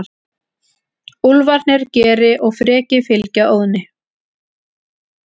Úlfarnir Geri og Freki fylgja Óðni.